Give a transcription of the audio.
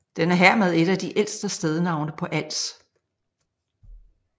Den er hermed et af de ældste stednavne på Als